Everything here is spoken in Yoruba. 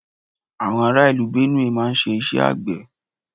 Àwọn ará ìlú Benue máà ń ṣe iṣẹ́ àgbé